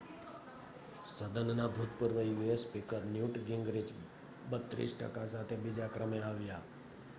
સદનનાં ભૂતપૂર્વ US speaker Newt Gingrich 32 ટકા સાથે બીજા ક્રમે આવ્યા